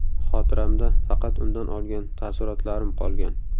Xotiramda faqat undan olgan taassurotlarim qolgan.